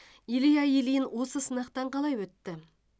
илья ильин осы сынақтан қалай өтті